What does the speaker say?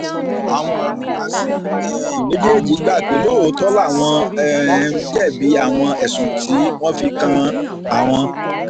àwọn áfúrásì um méjèèjì gbà pé lóòótọ́ làwọn um jẹ̀bi àwọn ẹ̀sùn tí wọ́n fi kan àwọn